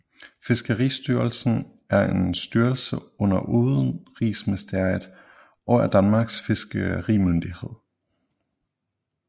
Fiskeristyrelsen er en styrelse under Udenrigsministeriet og er Danmarks fiskerimyndighed